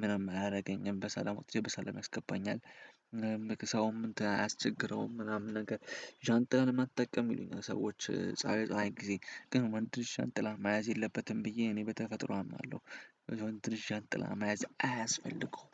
ምንም አያደርገኝም በሰላም ወጥቼ በሰላም ያስገባኛል። ሰውም አያስቸግረውም ምናምን ነገር ዣንጥላን መጠቀም የሚሉኝ ሰዎች ፀሀይ ፀሀይ ጊዜ ግን ወንድ ልጅ ዣንጥላ መያዝ የለበትም ብዬ እኔ በተፈጥሮ አምናለሁ። ትንሽ ዣንጥላ መያዝ አያስፈልገውም።